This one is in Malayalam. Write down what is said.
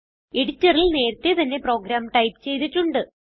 എഡിറ്ററിൽ നേരത്തെ തന്നെ പ്രോഗ്രാം ടൈപ്പ് ചെയ്തിട്ടുണ്ട്